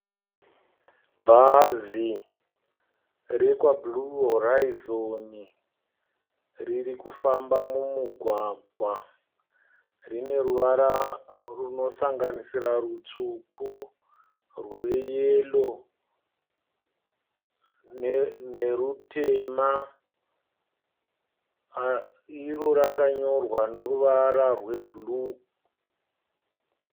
Bhazi rekwa "Blue horizon" ririkufamba mumugwagwa. Rineruvara runosanganisira rutsvuku, rweyero nerutema. Iro rakanyorwa neruvara rwebhuruu.